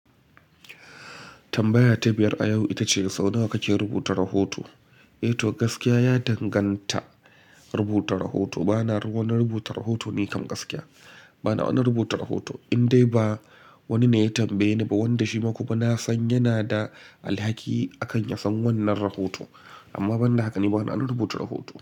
Tambaya ta biyar a yau ita ce, sau nawa kake rubuta rahoto? Eh to gaskiya ya danganta rubuta rahoto. Bana wani rubuta rahoto nikan gaskiya. Bana wani rubuta rahoto, in dai ba wani ne ya tambaye ni ba wanda shi ma kuma na san yana da alhaki akan ya san wannan rahoto. Amma banda haka ni bana rubuta rahoto.